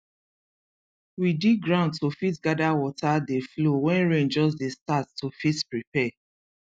we dig ground to fit gather water dey flow wen rain just dey start to fit prepare